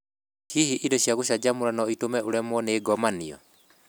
Hihi indo cia gũcanjamũra no itũme ũremwo nĩ gũkenio nĩ ngomanio?